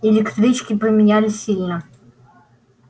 электрички поменялись сильно